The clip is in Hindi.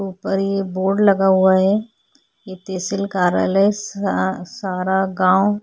ऊपर ये बोर्ड लगा हुआ है ये तहसील कार्यालय सा सारा गांव --